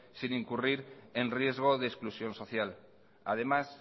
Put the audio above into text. sin incurrir en riesgo de exclusión social además